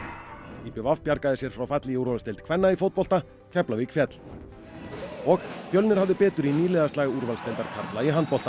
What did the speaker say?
í b v bjargaði sér frá falli í úrvalsdeild kvenna í fótbolta Keflavík féll og Fjölnir hafði betur í nýliðaslag úrvalsdeildar karla í handbolta